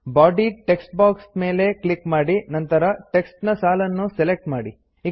body text box ಮೇಲೆ click ಮಾಡಿ ನಂತರ ಟೆಕ್ಸ್ಟ್ ನ ಸಾಲನ್ನು ಸೆಲೆಕ್ಟ್ ಮಾಡಿ